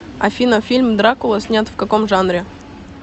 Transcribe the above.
афина фильм дракула снят в каком жанре